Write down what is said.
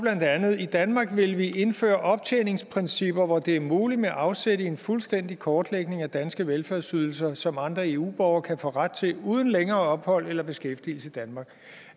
i danmark vil vi indføre optjeningsprincipper hvor det er muligt med afsæt i en fuldstændig kortlægning af danske velfærdsydelser som andre eu borgere kan få ret til uden længere ophold eller beskæftigelse i danmark